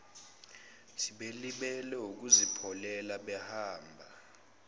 belibele ukuzipholela behamba